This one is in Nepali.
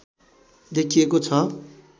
देखिएको छ